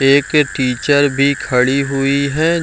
एक टीचर भी खड़ी हुई हैं |